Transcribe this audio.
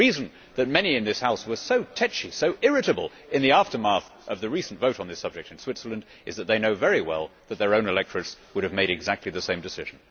The reason why many in this House were so tetchy and irritable in the aftermath of the recent vote on this subject in Switzerland is that they know very well that their own electorates would have made exactly the same decision.